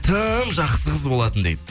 тым жақсы қыз болатын дейді